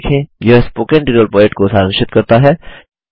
यह spoken tutorial project को सारांशित करता है